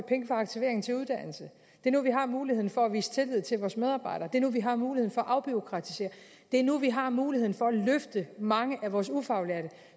aktivering til uddannelse det er nu vi har muligheden for at vise tillid til vores medarbejdere det er nu vi har muligheden for at afbureaukratisere det er nu vi har muligheden for at løfte mange af vores ufaglærte